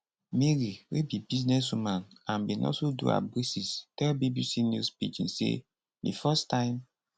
mary wey be businesswoman and bin also do her braces tell bbc news pidgin say di first time